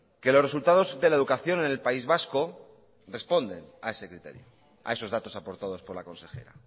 que los resultados de la educación en el país vasco responden a ese criterio a esos datos aportados por la consejera